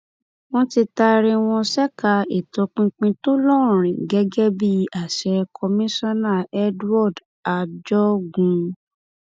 wọn ti taari wọn ṣèkà ìtọpinpin tó lórin gẹgẹ bí àṣẹ komisanna edward ajogun